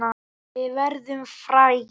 Við verðum frægir.